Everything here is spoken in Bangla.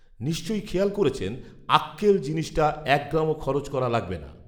নিশ্চয়ই খেয়াল করেছেন “আক্কেল” জিনিসটা এক গ্রামও খরচ করা লাগবে না